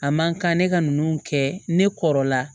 A man kan ne ka nunnu kɛ ne kɔrɔla